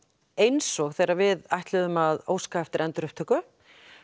eins og þegar við ætluðum að óska eftir endurupptöku